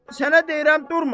Sənə deyirəm, durma.